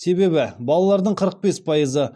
себебі балалардың қырық бес пайызы